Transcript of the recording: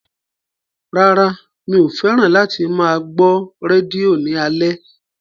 Rárá mi ò fẹ́ràn láti máa gbọ́ rédíò ní alẹ́